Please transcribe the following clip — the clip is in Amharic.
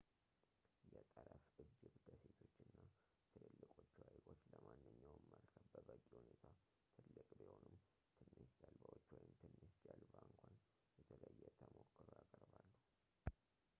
የጠረፍ እጅብ ደሴቶች እና ትልልቆቹ ሃይቆች ለማንኛውም መርከብ በበቂ ሁኔታ ትልቅ ቢሆኑም ትንሽ ጀልባዎች ወይም ትንሽ ጀልባ እንኳ የተለየ ተሞክሮ ያቀርባሉ